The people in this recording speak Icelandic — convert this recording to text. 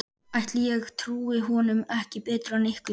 Ætli ég trúi honum ekki betur en ykkur.